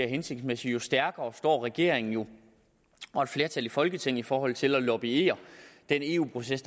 hensigtsmæssigt jo stærkere står regeringen og et flertal i folketinget jo i forhold til at lobbye den eu proces